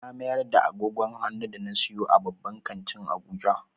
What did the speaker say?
Na mayar da agogon hannu da na siyo a babban kantin Abuja.